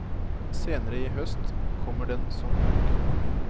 Senere i høst kommer den som bok.